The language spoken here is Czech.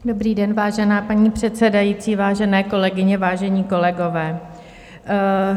Dobrý den, vážená paní předsedající, vážené kolegyně, vážení kolegové.